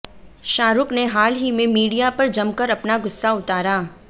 शाहरुख़ ने हाल ही में मीडिया पर जमकर अपना गुस्सा उतारा